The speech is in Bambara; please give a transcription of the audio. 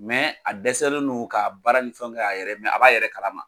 a dɛsɛlen no ka baara ni fɛnw kɛ a yɛrɛ ye a b'a yɛrɛ kalama.